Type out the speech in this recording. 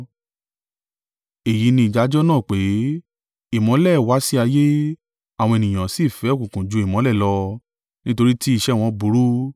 Èyí ni ìdájọ́ náà pé, ìmọ́lẹ̀ wá sí ayé, àwọn ènìyàn sì fẹ́ òkùnkùn ju ìmọ́lẹ̀ lọ, nítorí tí iṣẹ́ wọn burú.